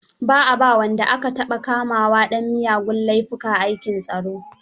Ba a ba wa wanda aka taɓa kamawa dan miyagun laifuka aikin tsaro.